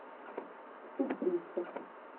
сестрица